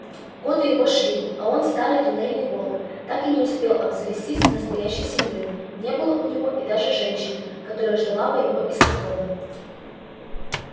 годы его шли а он старый туннельный волк так и не успел обзавестись настоящей семьёй не было у него даже женщины которая ждала бы его из походов